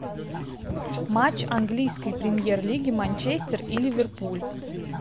матч английской премьер лиги манчестер и ливерпуль